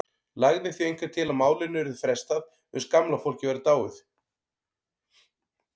Lagði því einhver til að málinu yrði frestað uns gamla fólkið væri dáið.